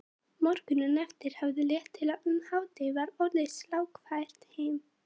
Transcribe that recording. Morguninn eftir hafði létt til og um hádegi var orðið slarkfært heim.